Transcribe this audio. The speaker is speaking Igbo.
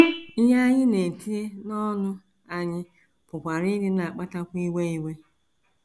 Ihe anyị na - etinye n’ọnụ anyị pụkwara ịdị na - akpatakwu iwe iwe.